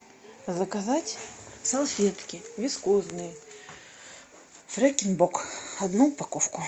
заказать салфетки вискозные фрекен бок одну упаковку